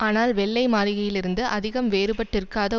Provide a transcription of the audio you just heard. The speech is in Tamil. ஆனால் வெள்ளை மாளிகையில் இருந்து அதிகம் வேறுபட்டிருக்காத